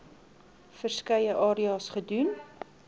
verskeie areas gedoen